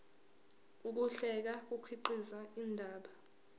ukuhlela kukhiqiza indaba